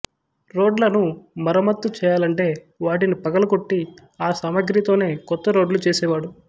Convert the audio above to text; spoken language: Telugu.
రోడ్లను మరమ్మత్తు చేయాలంటే వాటిని పగలగొట్టి ఆ సామాగ్రితోనే కొత్త రోడ్లు చేసేవాడు